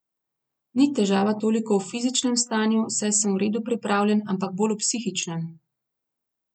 Ni težava toliko v fizičnem stanju, saj sem v redu pripravljen, ampak bolj v psihičnem.